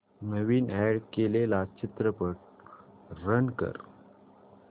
नवीन add केलेला चित्रपट run कर